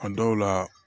A dɔw la